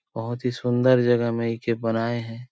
बहुत ही सुंदर जगह में इके बनाई हे।